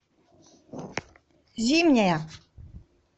зимняя